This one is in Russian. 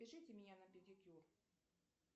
запишите меня на педикюр